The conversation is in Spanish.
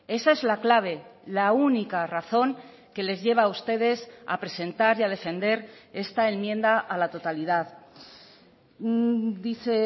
esa es la clave la única razón que les lleva a ustedes a presentar y a defender esta enmienda a la totalidad dice